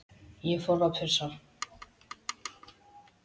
Ég fór að pissa.